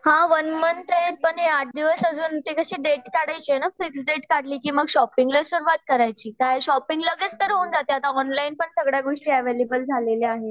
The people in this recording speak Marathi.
हां वन मंथ ये पण आठ दिवस अजून ते कशी डेट काढायची आहे ना फिक्स डेट काढली की मग शॉपिंगला सुरुवात करायची. आता शॉपिंग लगेच तर होऊन जाते आता ऑनलाईन पण सगळ्या गोष्टी अवैलेबल झालेल्या आहेत.